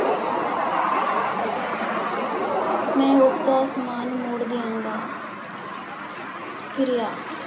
ਮੈਂ ਉਸਦਾ ਸਮਾਨ ਮੋੜ ਦਿਆਂਗਾ ਕਿਰਿਆ।